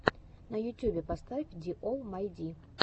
на ютюбе поставь ди олл май ди